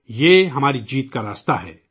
یہی ہماری جیت کا راستہ ہے